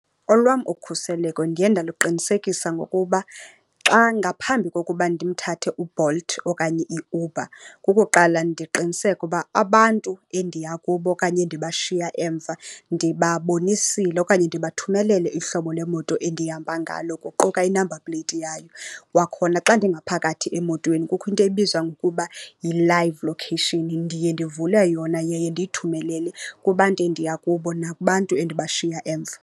Olwam ukhuseleko ndiye ndaluqinisekisa ngokuba xa, ngaphambi kokuba ndimthathe uBolt okanye iUber kukuqala ndiqiniseke uba abantu endiya kubo okanye endibashiya emva ndibabonisile okanye ndibathumelele ihlobo lemoto endihamba ngalo, kuquka i-number plate yayo. Kwakhona xa ndingaphakathi emotweni kukho into ebizwa ngokuba yi-live location. Ndiye ndivule yona yaye ndiyithumelele kubantu endiya kubo nakubantu endibashiya emva.